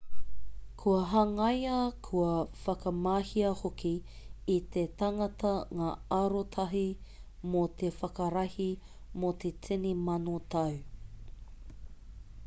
kua hangaia kua whakamahia hoki e te tangata ngā arotahi mō te whakarahi mō te tini mano tau